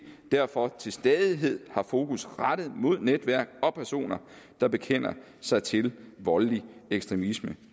derfor til stadighed har fokus rettet mod netværk og personer der bekender sig til voldelig ekstremisme